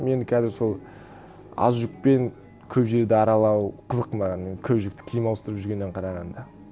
мен қазір сол аз жүкпен көп жерді аралау қызық маған көп жүкті киім ауыстырып жүргеннен қарағанда